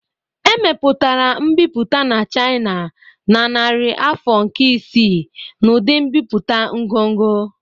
Emepụtara mbipụta na China na narị afọ nke isii n'ụdị mbipụta ngọngọ